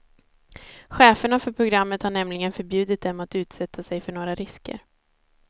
Cheferna för programmet har nämligen förbjudit dem att utsätta sig för några risker.